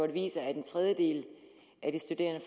viser at en tredjedel af de studerende